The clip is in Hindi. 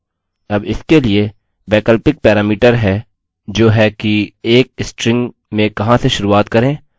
अब इसके लिए वैकल्पिक पैरामीटर है जो है कि एक स्ट्रिंग में कहाँ से शुरुआत करें और कहाँ पर अंत